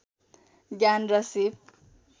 ज्ञान र सीप